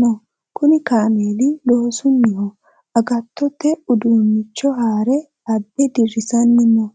noo. Kuni kaameli loosunniho. Agattote uduunnicho haara abbe dirrisanni no.